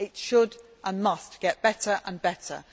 It should, and must, get better and better.